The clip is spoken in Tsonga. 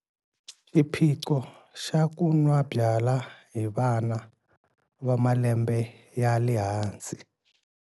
I xiphiqo xa ku nwa byala hi vana va malembe ya le hansi.